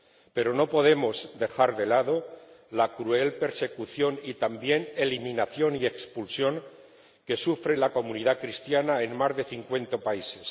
Pero no podemos dejar de lado la cruel persecución y también eliminación y expulsión que sufre la comunidad cristiana en más de cincuenta países.